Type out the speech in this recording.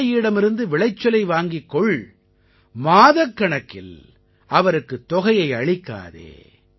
விவசாயியிடமிருந்து விளைச்சலை வாங்கிக் கொள் மாதக்கணக்கில் அவருக்குத் தொகையை அளிக்காதே